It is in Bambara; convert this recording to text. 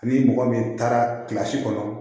Ni mɔgɔ min taara kɔnɔ